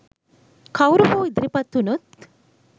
කවුරු හෝ ඉදිරිපත් වුනොත්